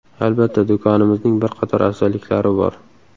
Albatta, do‘konimizning bir qator afzalliklari bor.